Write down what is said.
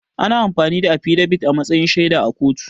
Ana amfani da affidabit a matsayin shaida a kotu